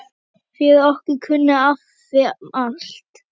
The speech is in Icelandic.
Fyrir okkur kunni afi allt.